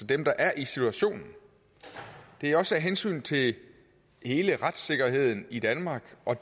dem der er i situationen det er også af hensyn til hele retssikkerheden i danmark og